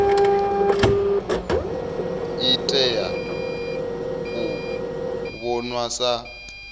i tea u vhonwa sa